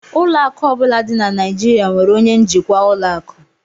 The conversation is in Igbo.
Ụlọ akụ ọ bụla dị na Nigeria nwere onye njikwa ụlọ akụ